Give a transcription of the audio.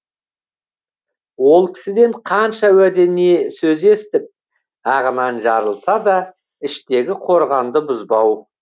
ол кісіден қанша уәде не сөз естіп ағынан жарылса да іштегі қорғанды бұзбау